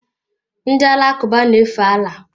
Ndị Alakụba na-efe Allah.